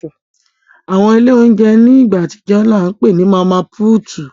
Awọn ile ounjẹ ni igba atijọ ni a ǹ pe ni Mama Puutu